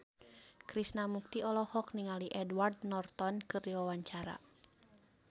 Krishna Mukti olohok ningali Edward Norton keur diwawancara